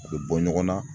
A bɛ bɔ ɲɔgɔn na